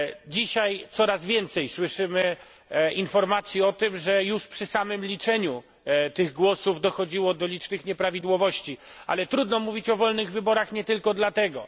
Dzisiaj coraz więcej słyszymy informacji o tym, że już przy samym liczeniu tych głosów dochodziło do licznych nieprawidłowości, ale trudno mówić o wolnych wyborach nie tylko dlatego.